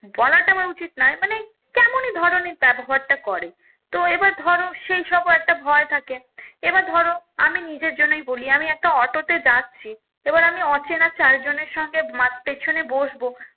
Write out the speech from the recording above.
বলাটা আমার উচিত নয় মানে কেমনই ধরণের ব্যবহারটা করে তো এইবার ধরো সেই সব ও একটা ভয় থাকে এবার ধরো আমি নিজের জন্যই বলি আমি একটা অটো তে যাচ্ছি এবার আমি অচেনা চার জনের সঙ্গে পেছনে বসবো